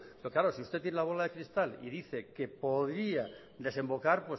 pero claro si usted tiene la bola de cristal y dice que podría desembocar